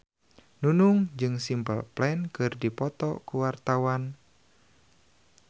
Nunung jeung Simple Plan keur dipoto ku wartawan